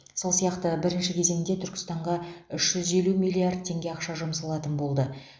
сол сияқты бірінші кезеңде түркістанға үш жүз елу миллиард теңге ақша жұмсалатын болды